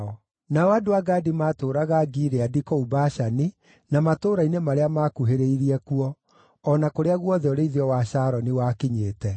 Nao andũ a Gadi maatũũraga Gileadi, kũu Bashani na matũũra-inĩ marĩa maakuhĩrĩirie kuo, o na kũrĩa guothe ũrĩithio wa Sharoni wakinyĩte.